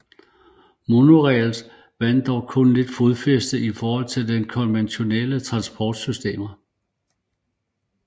Monorails vandt dog kun lidt fodfæste i forhold til konventionelle transportsystemer